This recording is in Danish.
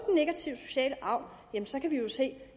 negative sociale arv kan vi jo se